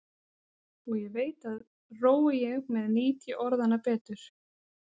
Og ég veit að rói ég með nýt ég orðanna betur.